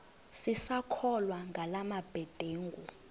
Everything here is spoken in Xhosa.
sisakholwa ngala mabedengu